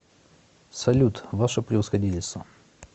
салют ваше превосходительство